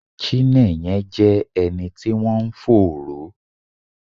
Chinenye jẹ́ ẹni tí wọ́n ń fòòró